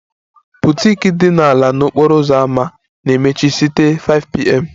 The boutique ala n'okporo ámá na-emechi site 5pm